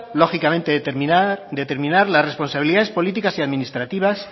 lógicamente determinar las responsabilidades políticas y administrativas